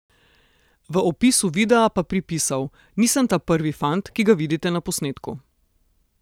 V opisu videa pa pripisal: 'Nisem ta prvi fant, ki ga vidite na posnetku.